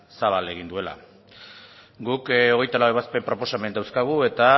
zabal egin duela guk hogeita lau ebazpen proposamen dauzkagu eta